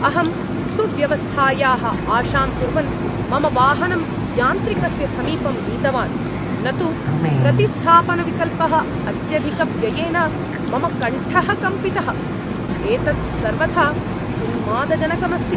अहं सुव्यवस्थायाः आशां कुर्वन् मम वाहनम् यान्त्रिकस्य समीपं नीतवान्, न तु प्रतिस्थापनविकल्पः अत्यधिकव्ययेन मम कण्ठः कम्पितः! एतत् सर्वथा उन्मादजनकम् अस्ति ।